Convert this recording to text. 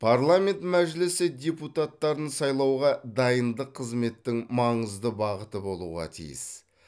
парламент мәжілісі депутаттарын сайлауға дайындық қызметтің маңызды бағыты болуға тиіс